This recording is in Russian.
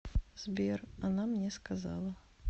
сбер она мне сказала